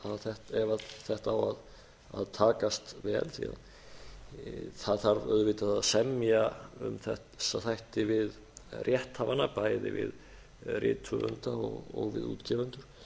ef þetta á að takast vel því það þarf auðvitað að semja við þessa þætti um rétthafana bæði við rithöfunda og við útgefendur